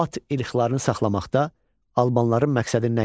At irqlərini saxlamaqda albanların məqsədi nə idi?